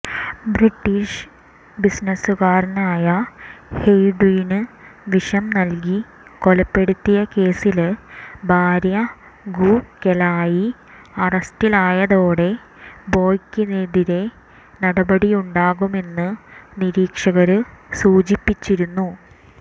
British ബിസിനസുകാരനായ ഹെയ്വുഡിന് വിഷം നല്കി കൊലപ്പെടുത്തിയ കേസില് ഭാര്യ ഗു കെലായി അറസ്റ്റിലായതോടെ ബോയ്ക്കെതിരെ നടപടിയുണ്ടാകുമെന്ന് നിരീക്ഷകര് സൂചിപ്പിച്ചിരുന്നു